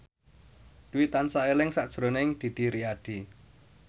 Dwi tansah eling sakjroning Didi Riyadi